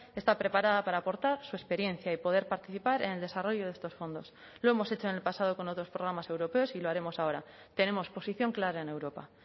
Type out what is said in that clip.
está preparada para aportar su experiencia y poder participar en el desarrollo de estos fondos lo hemos hecho en el pasado con otros programas europeos y lo haremos ahora tenemos posición clara en europa